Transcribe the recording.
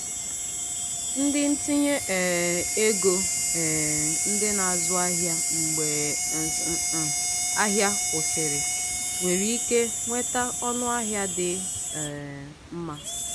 ndị ntinye um ego um ndị na-azụ ahịa mgbe ahịa kwụsịrị nwere ike nweta ọnụahịa dị um mma.